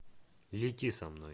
лети со мной